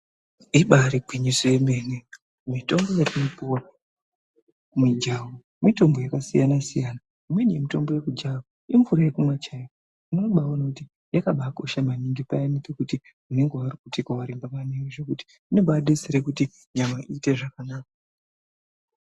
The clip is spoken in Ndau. Ibaari gwinyiso yemene, mitombo yetinopiwa kumijaho, mitombo yakasiyana-siyana. Imweni yemitombo yekujaha, imvura yekumwa chaiyo. Unobaaone kuti yakabaakosha maningi, payani pekuti unenge warukutika waremba maningi zvokuti ,inombaadetsere kuti nyama iite zvakanaka.